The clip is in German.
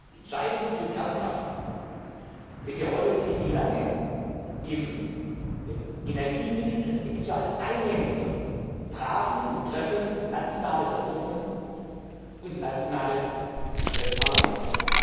Die Entscheidung zu Kernkraft, welche Rolle sie wie lange im Energiemix eines Mitgliedstaats einnehmen soll, trafen und treffen nationale Regierungen und nationale Parlamente.